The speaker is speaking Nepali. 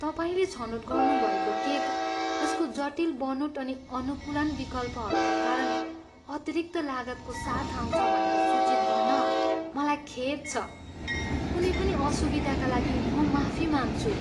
तपाईँले छनोट गर्नुभएको केक यसको जटिल बनोट अनि अनुकूलन विकल्पहरूका कारण अतिरिक्त लागतको साथ आउँछ भनेर सूचित गर्न मलाई खेद छ। कुनै पनि असुविधाका लागि म माफी माग्छु।